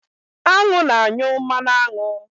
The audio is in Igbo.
Añụ na-anyụ mmanụ aṅụ.